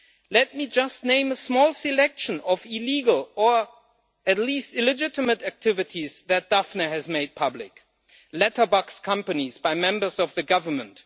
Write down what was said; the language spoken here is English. Let me just name a small selection of illegal, or at least illegitimate, activities that Daphne has made public letterbox companies owned by members of the government